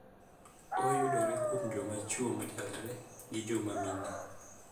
Oyudore kuom joma chuo machalre gi joma mine